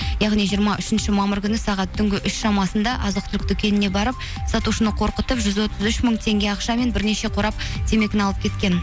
яғни жиырма үшінші мамыр күні сағат түнгі үш шамасында азық түлік дүкеніне барып сатушыны қорқытып жүз отыз үш мың теңге ақша мен бірнеше қорап темекіні алып кеткен